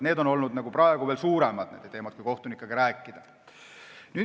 Need on praegu suuremad teemad, nii selgub, kui kohtunikega rääkida.